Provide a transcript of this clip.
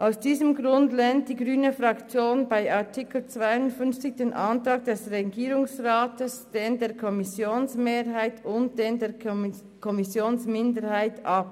Aus diesem Grund lehnt die grüne Fraktion bei Artikel 52 den Antrag des Regierungsrates, denjenigen der Kommissionsmehrheit und jenen der Kommissionsminderheit ab.